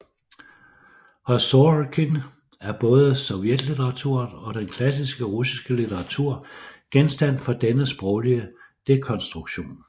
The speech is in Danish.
Hos Sorokin er både sovjetlitteraturen og den klassiske russiske litteratur genstand for denne sproglige dekonstruktion